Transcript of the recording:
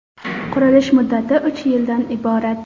Qurilish muddati uch yildan iborat.